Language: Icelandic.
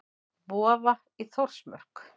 Vofa í Þórsmörk.